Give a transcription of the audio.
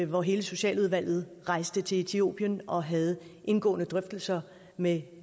hvor hele socialudvalget rejste til etiopien og havde indgående drøftelser med